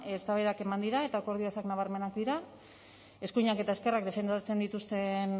eztabaidak eman dira eta akordio ezak nabarmenak dira eskuinak eta ezkerrak defendatzen dituzten